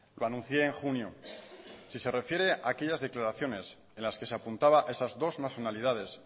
lo anuncié en junio si se refiere a aquellas declaraciones en las que se apuntaba a esas dos nacionalidades